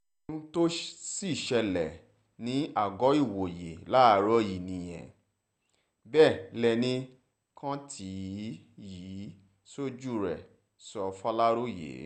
ohun ohun tó sì ṣẹlẹ̀ ní àgọ́-ìwòye láàárọ̀ yìí nìyẹn bẹ́ẹ̀ lẹnì kan tí oò yìí ṣojú rẹ̀ sọ fàlàròyé